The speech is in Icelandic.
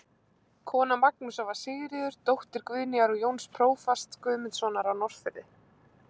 Kona Magnúsar var Sigríður, dóttir Guðnýjar og Jóns prófasts Guðmundssonar á Norðfirði.